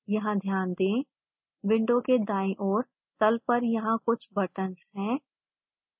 यहाँ ध्यान दें विंडो के दायीं ओर तल पर यहाँ कुछ बटन्स हैं